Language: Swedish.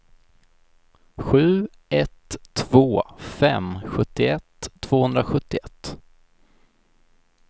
sju ett två fem sjuttioett tvåhundrasjuttioett